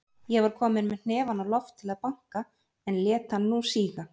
Ég var kominn með hnefann á loft til að banka, en lét hann nú síga.